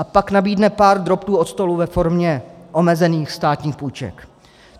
A pak nabídne pár drobtů od stolu ve formě omezených státních půjček.